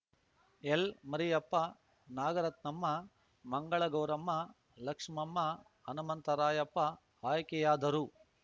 ಎಲ್ಮರಿಯಪ್ಪ ನಾಗರತ್ನಮ್ಮ ಮಂಗಳಗೌರಮ್ಮ ಲಕ್ಷ್ಮಮ್ಮ ಹನುಮಂತರಾಯಪ್ಪ ಆಯ್ಕೆಯಾದರು